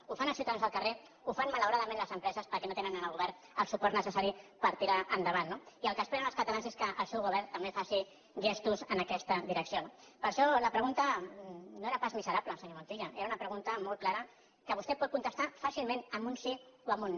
ho fan els ciutadans al carrer ho fan malauradament les empreses perquè no tenen en el govern el suport necessari per tirar endavant no i el que esperen els catalans és que el seu govern també faci gestos en aquesta direcció no per això la pregunta no era pas miserable senyor montilla era una pregunta molt clara que vostè pot contestar fàcilment amb un sí o amb un no